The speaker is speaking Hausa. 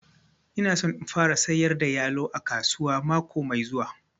Ina son in fara sayar da yalo a kasuwa mako mai zuwa